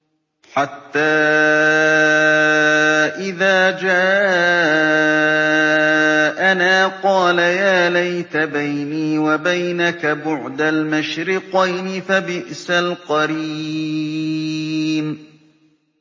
حَتَّىٰ إِذَا جَاءَنَا قَالَ يَا لَيْتَ بَيْنِي وَبَيْنَكَ بُعْدَ الْمَشْرِقَيْنِ فَبِئْسَ الْقَرِينُ